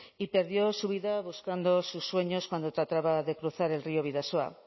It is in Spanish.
y perdió su vida buscando sus sueños cuando trataba de cruzar el río bidasoa